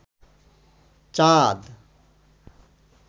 চাঁদ